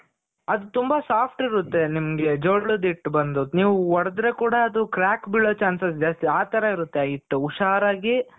ಅದು ತುಂಬ soft ಇರುತ್ತೆ. ನಿಮ್ಗೆ ಜೋಳದ ಹಿಟ್ಟು ಬಂದು ನೀವು ಹೊಡ್ದ್ರೆ ಕೂಡ ಅದು crack ಬೀಳೋ chances ಜಾಸ್ತಿ. ಆ ತರ ಇರುತ್ತೆ ಹಿಟ್ಟು ಹುಷಾರಾಗಿ